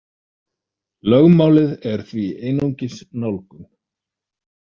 Lögmálið er því einungis nálgun.